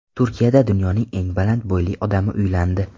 Turkiyada dunyoning eng baland bo‘yli odami uylandi .